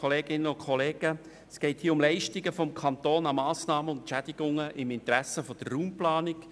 der BaK. Es geht um Leistungen des Kantons an Massnahmen und Entschädigungen im Interesse der Raumplanung.